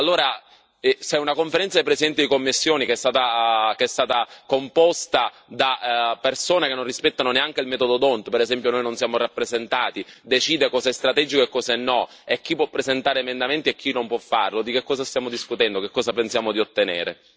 Allora, se una Conferenza dei presidenti di commissione che è composta da persone che non rispettano neanche il metodo D'Hondt per esempio noi non siamo rappresentati decide cosa è strategico e cosa no, chi può presentare emendamenti e chi non può farlo, di che cosa stiamo discutendo, che cosa pensiamo di ottenere?